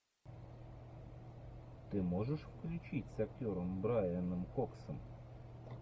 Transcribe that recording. ты можешь включить с актером брайаном коксом